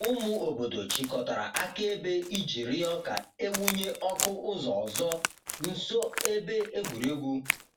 Ụmụ obodo chịkọtara akaebe iji rịọ ka e wụnye ọkụ ụzọ ọzọ nso ebe egwuregwu.